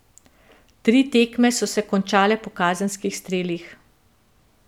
Tri tekme so se končale po kazenskih strelih.